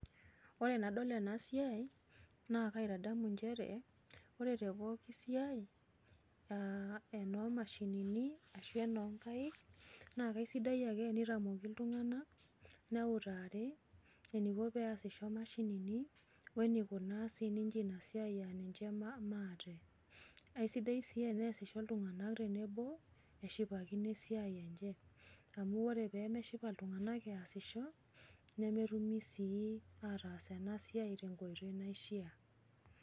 Ore enadol ena siai, naa kaitadamu njere, ore tepooki siai enoomashinini enoo nkaik naa kaisidai ake tenitamoki iltunganak, neutari eniko peasisho imashinini, oneikunaa siininje ina siai ninje maate. Aisidai sii teneesisho iltunganak tenebo neshipakino esiai enye, amu ore peemeshipa iltunganak easisho, nemetumi sii ataas ena siai tenkoito naishaa.